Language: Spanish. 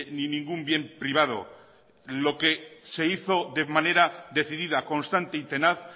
ni ningún bien privado lo que se hizo de manera decidida constante y tenaz